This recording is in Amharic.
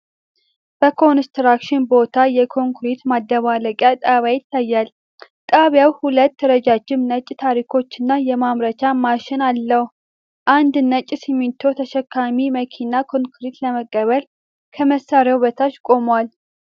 በኮንስትራክሽን ቦታ የኮንክሪት ማደባለቂያ ጣቢያ ይታያል። ጣቢያው ሁለት ረዣዥም ነጭ ታንኮች እና የማምረቻ ማሽን አለው። አንድ ነጭ ሲሚንቶ ተሸካሚ መኪና ኮንክሪት ለመቀበል ከመሳሪያው በታች ቆሟል።